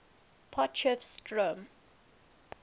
potchefstroom